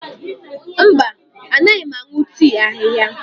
Mba, anaghị m aṅụ tii ahihia.